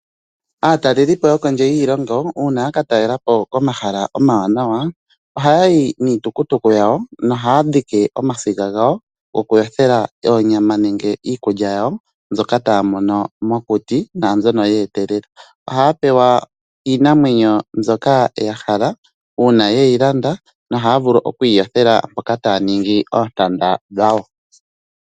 Aataleli po yokondje yiilongo uuna yaka talela po ohaya yi niitukutuku yo ohaya dhiki omasiga gawo gokuyothela oonyama nenge iikulya yawo mbyoka taya mono mokuti nenge mbyoka ya etelele. Ohaya pewa iinamwenyo mbyoka ya hala yo ohaya vulu okuyi yothela mpoka haya ningi oontanda dhawo.